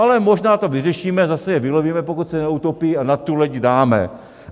Ale možná to vyřešíme, zase je vylovíme, pokud se neutopí, a na tu loď dáme.